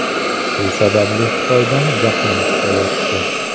Shu sababli Xitoydan jahlim chiqayapti.